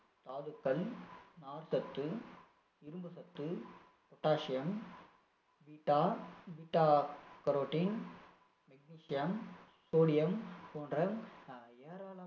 தாதுக்கள், நார்ச்சத்து, இரும்புச்சத்து potasium, beta beta-carotene, magnesium, sodium போன்ற ஏராளமான